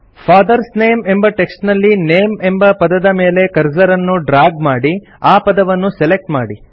fathers name ಎಂಬ text ನಲ್ಲಿ name ಎಂಬ ಪದದ ಮೇಲೆ ಕರ್ಸರ್ ಅನ್ನು ಡ್ರಾಗ್ ಮಾಡಿ ಆ ಪದವನ್ನು ಸೆಲೆಕ್ಟ್ ಮಾಡಿ